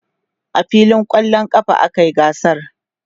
a filin kwallon ƙafa a kayi gasar